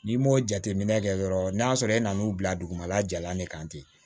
N'i m'o jateminɛ kɛ dɔrɔn n'a sɔrɔ e nan'o bila dugumala jalan de kan ten